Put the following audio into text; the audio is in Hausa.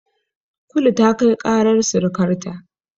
Kulu ta kai ƙarar sirikarta.